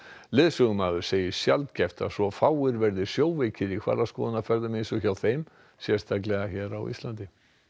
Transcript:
leiðsögumaður segir sjaldgæft að svo fáir verði sjóveikir í hvalaskoðunarferðum eins og hjá þeim sérstaklega á Íslandi